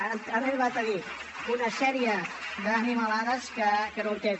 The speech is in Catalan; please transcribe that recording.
han arribat a dir una sèrie d’animalades que no entenc